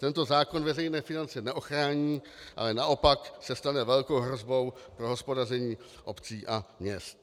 Tento zákon veřejné finance neochrání, ale naopak se stane velkou hrozbou pro hospodaření obcí a měst.